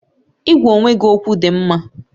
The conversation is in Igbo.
Ịgwa onwe gị okwu dị mma